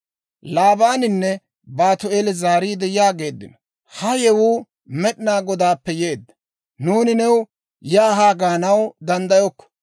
Laabaaninne Baatu'eeli zaariide yaageeddino; «Ha yewuu Med'inaa Godaappe yeedda; nuuni new yaa haa gaanaw danddayokko.